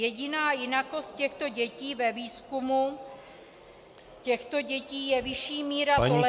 Jediná jinakost těchto dětí ve výzkumu těchto dětí je vyšší míra tolerance -